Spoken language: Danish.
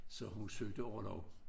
Så hun søgte orlov